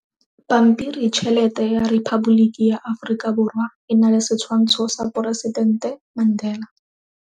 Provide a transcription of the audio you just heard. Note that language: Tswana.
Pampiritšhelete ya Repaboliki ya Aforika Borwa e na le setshwantsho sa poresitente Mandela.